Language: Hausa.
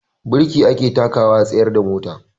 Birki ake takawa a tsayar da mota.